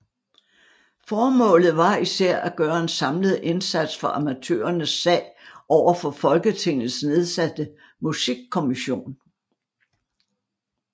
Formålet var især at gøre en samlet indsats for amatørernes sag over for Folketingets nedsatte musikkommission